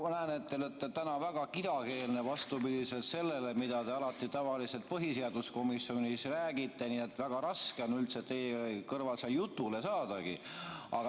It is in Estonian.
Ma näen, et te olete täna väga kidakeelne, vastupidi sellele, kuidas te alati tavaliselt põhiseaduskomisjonis räägite, nii et väga raske on üldse teie kõrval jutulegi saada.